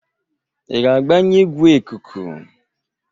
ị ga-agbanye igwe ikuku?